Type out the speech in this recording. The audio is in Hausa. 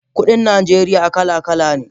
Kudin Najeriya kala kala ne